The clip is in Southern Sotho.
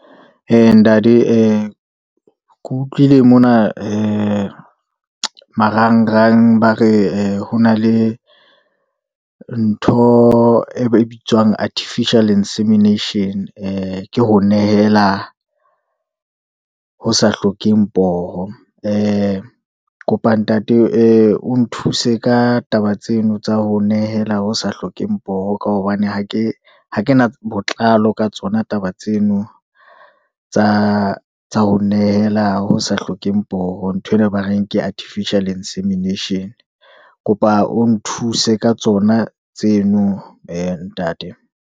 Ee ntate ee, ke utlwile mona ee marangrang ba re ho na le ntho e ba bitswang artificial insemination, ee ke ho nehela ho sa hlokeng poho. Ee kopa ntate ee o nthuse ka taba tseno, tsa ho nehela ho sa hlokeng poho, ka hobane ha ke na botlalo ka tsona taba tseno, tsa ho nehela ho sa hlokeng poho, nthwena ba reng ke artificial insemination. Kopa o nthuse ka tsona tseno ntate.